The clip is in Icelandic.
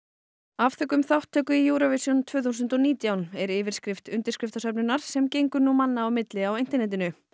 afþökkum þátttöku í Eurovision tvö þúsund og nítján er yfirskrift undirskriftarsöfnunar sem gengur nú manna á milli á internetinu